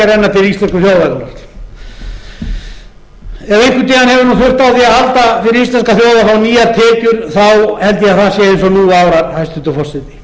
einhvern tíma hefur þurft á því að halda fyrir íslenska þjóð að fá nýjar tekjur held ég að það sé eins og nú árar hæstvirtur forseti